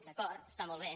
d’acord està molt bé